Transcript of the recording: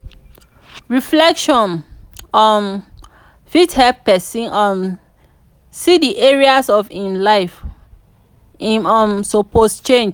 reflection um fit help pesin um see di areas of im life wey im um suppose change.